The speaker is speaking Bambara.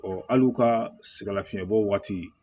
hali u ka sɛgɛn lafiɲɛbɔw waati